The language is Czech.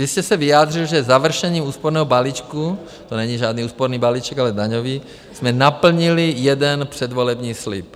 Vy jste se vyjádřil, že završením úsporného balíčku - to není žádný úsporný balíček, ale daňový - jsme naplnili jeden předvolební slib.